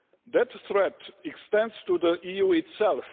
That threat extends to the EU itself.